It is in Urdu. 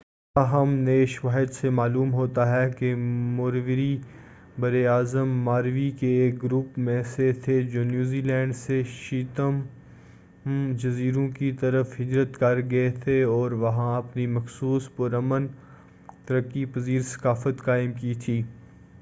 تاہم نئے شواہد سے معلوم ہوتا ہے کہ موریوری برّ اَعظم ماوری کے ایک گروپ میں سے تھے جو نیوزی لینڈ سے چیتھم جزیروں کی طرف ہجرت کر گئے تھے اور وہاں اپنی مخصوص پرامن ترقی پذیر ثقافت قائم کی تھی